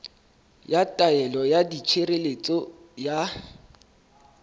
ya taelo ya tshireletso ya